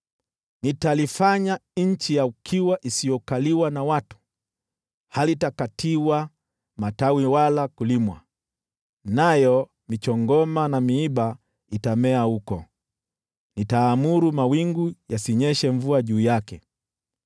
Nitalifanya nchi ya ukiwa isiyokaliwa na watu, halitakatiwa matawi wala kulimwa, nayo michongoma na miiba itamea huko, nitaamuru mawingu yasinyeshe mvua juu yake.”